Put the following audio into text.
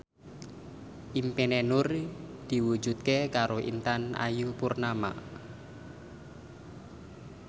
impine Nur diwujudke karo Intan Ayu Purnama